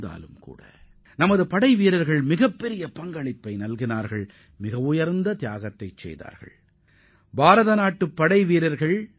எனினும் நமது வீரர்கள் அந்தப்போரில் துணிச்சலுடன் போரிட்டு மிக உயர்ந்த தியாகங்களைப் புரிந்துள்ளனர்